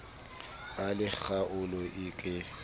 ba le kgaolo e ke